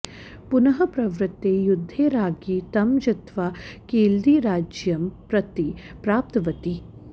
पुनः प्रवृत्ते युद्धे राज्ञी तं जित्वा केळदिराज्यं प्रतिप्राप्तवती